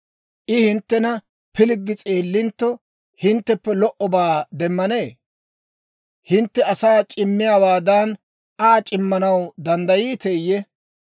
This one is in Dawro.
I hinttena pilggi s'eellintto, hintteppe lo"obaa demmanee? Hintte asaa c'immiyaawaadan, Aa c'immanaw danddayiiteeyye?